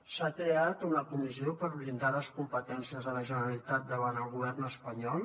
s’ha creat una comissió per blindar les competències de la generalitat davant el govern espanyol